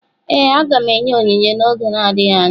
Ee, aga m enye onyinye m n’oge adịghị anya.